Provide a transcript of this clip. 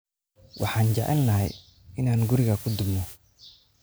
Waxaan jecelnahay inaan guriga ku dubno.